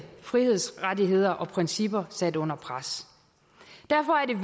frihedsrettigheder og principper sat under pres derfor er